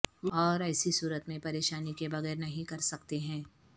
اور ایسی صورت میں پریشانی کے بغیر نہیں کر سکتے ہیں